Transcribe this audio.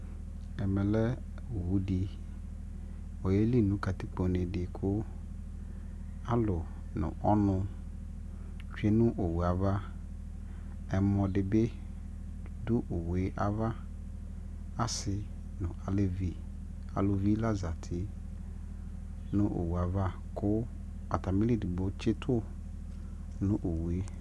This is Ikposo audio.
ɛmɛ lɛ ɔwʋ di, ɔyɛli nʋ katikpɔ nɛ kʋ alʋ nʋ ɔnʋ twɛnʋ ɔwʋɛ aɣa, ɛmɔ dibi dʋ ɔwʋɛ aɣa, asii nʋ alɛvi, alʋvi la zati nʋ ɔwʋɛ aɣa kʋ atamili ɛdigbɔ tsitʋ nʋ ɔwʋɛ